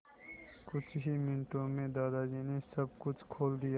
कुछ ही मिनटों में दादाजी ने सब कुछ खोल दिया